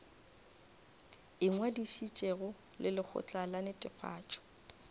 ingwadišitšego le lekgotla la netefatšo